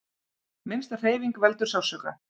Minnsta hreyfing veldur sársauka.